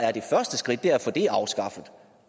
er det første skridt at få det afskaffet